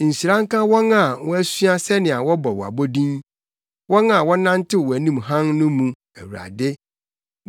Nhyira nka wɔn a wɔasua sɛnea wɔbɔ wo abodin, wɔn a wɔnantew wʼanim hann no mu, Awurade.